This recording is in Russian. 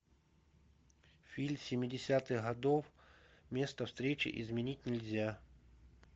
фильм семидесятых годов место встречи изменить нельзя